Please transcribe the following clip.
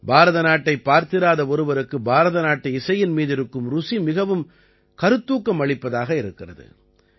பாரத நாட்டை பார்த்திராத ஒருவருக்கு பாரத நாட்டு இசையின் மீதிருக்கும் ருசி மிகவும் கருத்தூக்கம் அளிப்பதாக இருக்கிறது